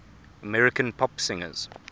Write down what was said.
american pop singers